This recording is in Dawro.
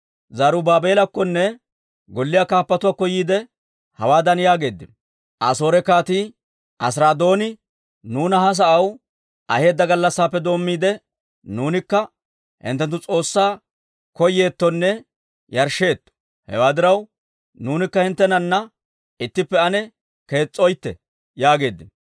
Zarubaabeelakkonne golliyaa kaappatuwaakko yiide, hawaadan yaageeddino; «Asoore Kaatii Asiraadooni nuuna ha sa'aw aheedda gallassaappe doommiide, nuunikka hinttenttu S'oossaa koyyeettonne yarshsheetto. Hewaa diraw, nuunikka hinttenana ittippe ane kees's'oytte» yaageeddino.